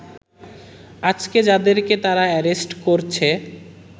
আজকে যাদেরকে তারা অ্যারেস্ট করছে